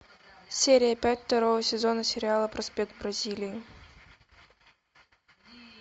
серия пять второго сезона сериала проспект бразилии